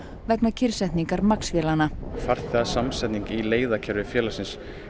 vegna kyrrsetningar Max vélanna í leiðakerfi félagsins